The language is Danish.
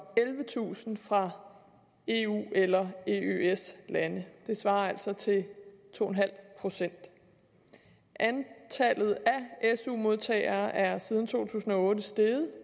ellevetusind fra eu eller eøs lande det svarer altså til to procent antallet af su modtagere er siden to tusind og otte steget